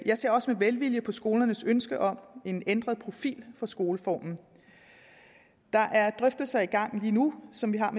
jeg ser også med velvilje på skolernes ønske om en ændret profil af skoleformen der er drøftelser i gang lige nu som vi har